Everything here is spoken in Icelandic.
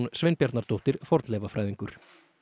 Sveinbjarnardóttir fornleifafræðingur